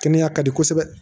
Kɛnɛya ka di kosɛbɛ